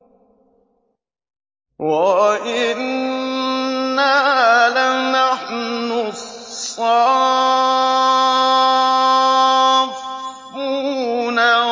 وَإِنَّا لَنَحْنُ الصَّافُّونَ